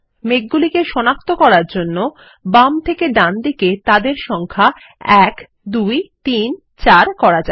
মেঘগুলিকে সনাক্ত করার জন্য বাম থেকে ডানে তাদের সংখ্যা ১ ২ ৩ ৪ করা যাক